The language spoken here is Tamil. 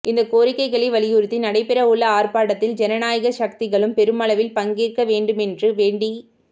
இந்த கோரிக்கைகளை வலியுறுத்தி நடைபெறவுள்ள ஆர்ப்பாட்டத்தில் ஜனநாயக சக்திகளும் பெருமளவில் பங்கேற்க வேண்டுமென்று வேண்டிக்